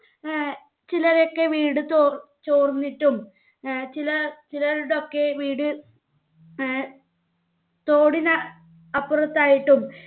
ഏർ ചിലരെയൊക്കെ വീട് ചോർ ചോർന്നിട്ടും ഏർ ചില ചിലർടൊക്കെ വീട് ഏർ തോടിന് അപ്പുറത്തായിട്ടും